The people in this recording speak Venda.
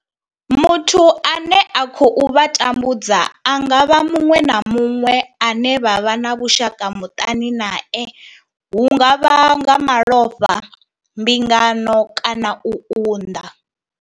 Muthu ane a khou vha tambudza a nga vha muṅwe na muṅwe ane vha vha na vhushaka muṱani nae hu nga vha nga malofha, mbingano kana u unḓa.